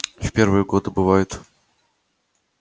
в первые годы бывает